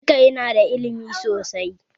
Chika ya nada ilimi sosai